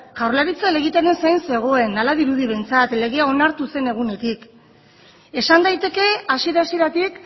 jaurlaritza helegitearen zain zegoen hala dirudi behintzat legea onartu zen egunetik esan daiteke hasiera hasieratik